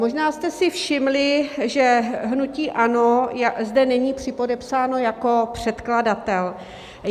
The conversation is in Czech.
Možná jste si všimli, že hnutí ANO zde není připodepsáno jako předkladatel.